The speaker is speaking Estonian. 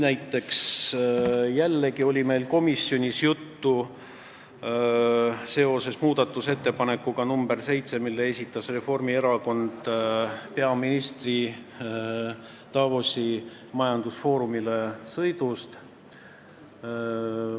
Näiteks oli meil komisjonis jällegi juttu muudatusettepanekust nr 7, mille esitas Reformierakond peaministri Davosi majandusfoorumile sõidu kohta.